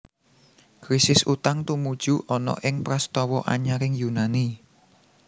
Krisis utang tumuju ana ing prastawa anyaring Yunani